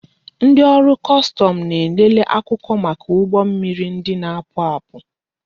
Ndị ọrụ kọstọmụ na-elele akwụkwọ maka ụgbọ mmiri ndị na-apụ apụ